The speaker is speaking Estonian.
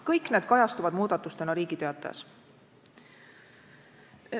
Kõik need kajastuvad muudatustena Riigi Teatajas.